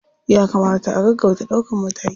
Ya kamata a gaggauta ɗaukan mataki.